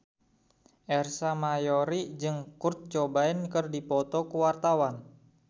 Ersa Mayori jeung Kurt Cobain keur dipoto ku wartawan